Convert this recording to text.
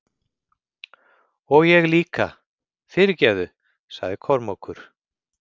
Og ég líka, fyrirgefðu, sagði Kormákur.